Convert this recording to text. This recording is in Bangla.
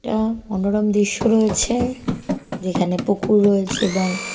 একটা মনোরম দৃশ্য রয়েছে যেখানে পুকুর রয়েছে এবং--